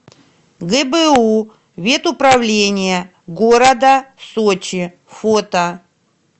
гбу ветуправление города сочи фото